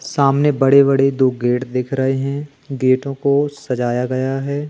सामने बड़े बड़े दो गेट दिख रहे हैं गेटों को सजाया गया है।